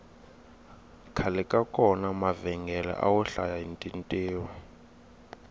khale ka kona mavhengele awo hlaya hi tintiho